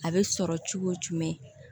A bɛ sɔrɔ cogo jumɛn